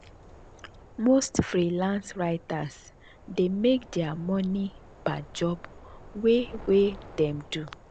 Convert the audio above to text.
most freelance writers dey make their money per job wey wey dem do.